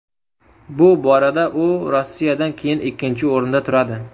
Bu borada u Rossiyadan keyin ikkinchi o‘rinda turadi.